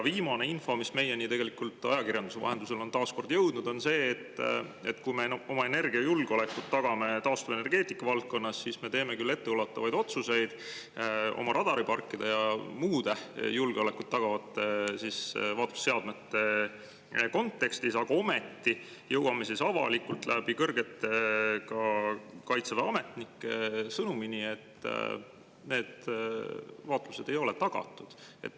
Viimane info, mis meieni ajakirjanduse vahendusel on taas kord jõudnud, on see, et kui me taastuvenergeetika valdkonnas tagame oma energiajulgeolekut, siis me teeme küll etteulatuvaid otsuseid radariparkide ja muude julgeolekut tagavate vaatlusseadmete kontekstis, aga ometi jõuame avalikult ka Kaitseväe kõrgete ametnike kaudu sõnumini, et need vaatlused ei ole tagatud.